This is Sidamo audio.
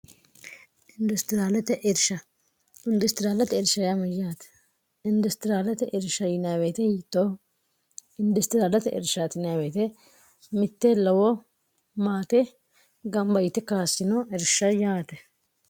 idrshindustiriaalate ershymyyaati industiriyaalate ersha inwete yitoh industiriaalate ershwet mitte lowo maate gama yite kaassino irsha yaate